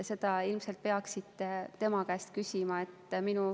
Seda peaksite ilmselt tema käest küsima.